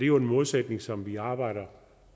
jo en målsætning som vi arbejder